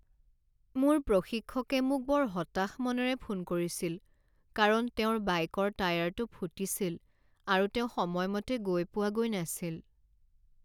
মোৰ প্ৰশিক্ষকে মোক বৰ হতাশ মনেৰে ফোন কৰিছিল কাৰণ তেওঁৰ বাইকৰ টায়াৰটো ফুটিছিল আৰু তেওঁ সময়মতে গৈ পোৱাগৈ নাছিল।